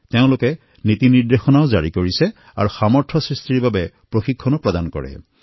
তেওঁলোকে নিৰ্দেশনাও জাৰী কৰে লগতে লগতে সামৰ্থ নিৰ্মাণৰ বাবে নিৰৱচ্ছিন্ন প্ৰশিক্ষণৰ কামো কৰি থাকে